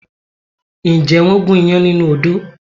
Ǹjẹ́ wọ́n gún iyán nínú odó?